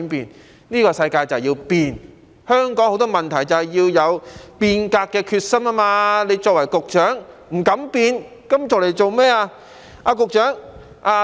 但是，這個世界就是要變，面對香港很多問題，就是要有變革的決心，他作為局長卻不敢變，那麼當局長有何用？